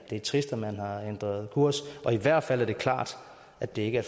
er trist at man har ændret kurs og i hvert fald er det klart at det ikke